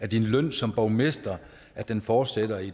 din løn som borgmester at den fortsætter i